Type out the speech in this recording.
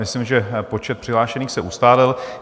Myslím, že počet přihlášených se ustálil.